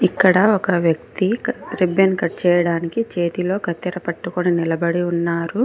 ఇక్కడ ఒక వ్యక్తి రిబ్బన్ కట్ చేయడానికి చేతిలో కత్తెర పట్టుకొని నిలబడి ఉన్నారు.